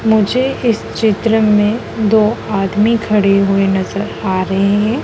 मुझे इस चित्र में दो आदमी खड़े हुए नजर आ रहे हैं।